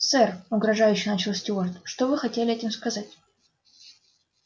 сэр угрожающе начал стюарт что вы хотели этим сказать